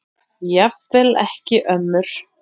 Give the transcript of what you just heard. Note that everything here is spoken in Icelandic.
Jafnvel ekki ömmur.